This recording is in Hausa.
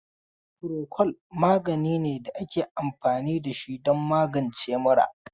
Furokol magani ne da ake anfani da shi don magance mura.